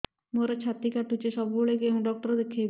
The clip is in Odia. ମୋର ଛାତି କଟୁଛି ସବୁବେଳେ କୋଉ ଡକ୍ଟର ଦେଖେବି